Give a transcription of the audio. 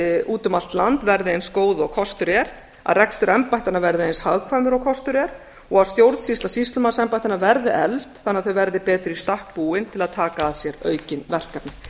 úti um allt land verði eins góð og kostur er að rekstur embættanna verði eins hagkvæmur og kostur er og að stjórnsýsla sýslumannsembættanna verði efld þannig að þau verði betur í stakk búin til að taka að sér aukin verkefni